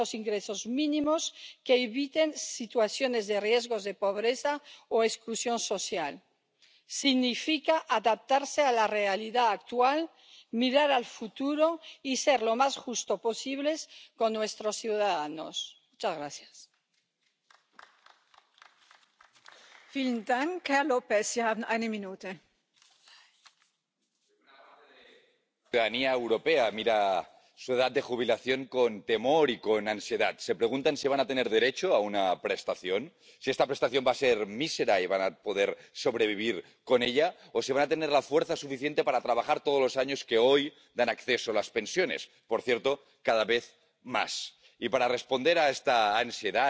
zostaną im wypłacone w postaci bezpiecznych emerytur. Nie możemy zapomnieć o edukowaniu młodych osób, jak ważne jest oszczędzanie i zabezpieczenie swojej przyszłości na czas emerytury. Planując wiek przejścia na emeryturę, powinniśmy reagować na wydłużające się życie obywateli Unii Europejskiej. W tym wypadku należy oczywiście brać pod uwagę specyfikę niektórych zawodów. Na koniec chciałabym zwrócić Państwa uwagę na pracowników mobilnych. Promując mobilność pracowników, musimy zapewnić im ciągłość zabezpieczenia społecznego oraz możliwość przenoszenia praw nabytych w różnych państwach członkowskich. Ma to ogromny związek z obecną debatą na temat koordynacji systemów zabezpieczeń społecznych. Nie wolno pozwolić na fragmentaryzację zabezpieczenia